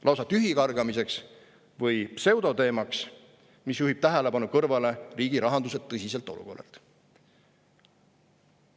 Lausa tühikargamiseks või pseudoteemaks, mis juhib tähelepanu kõrvale riigirahanduse tõsiselt olukorralt.